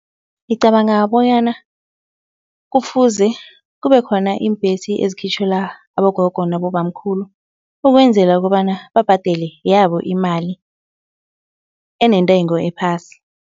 Ngicabanga bonyana kufuze kube khona iimbhesi ezikhitjhelwa abogogo nabobamkhulu ukwenzela kobana babhadele yabo imali enentengo ephasi.